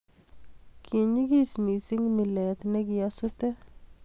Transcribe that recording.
ki nyegis mising mile ne kiasute